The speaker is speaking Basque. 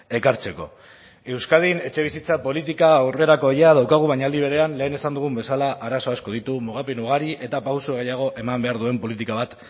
ekartzeko euskadin etxebizitza politika aurrerakoia daukagu baina aldi berean lehen esan dugun bezala arazo asko ditu mugapen ugari eta pausu gehiago eman behar duen politika bat